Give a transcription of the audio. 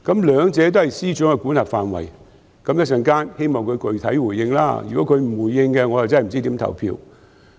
兩者都是司長的管轄範圍，希望司長稍後具體回應，如果他不回應，我不知道如何表決。